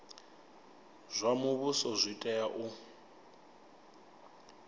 zwa muvhuso zwi tea u